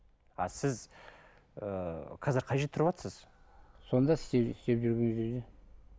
а сіз ыыы қазір қай жерде тұрватсыз сонда істеп жүрген жерде